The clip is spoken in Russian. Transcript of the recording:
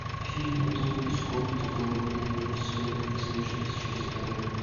фильм тони скотта голодные игры сойка пересмешница часть вторая